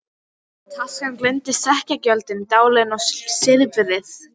Taskan geymdi sekkjagjöldin, dalina og silfrið.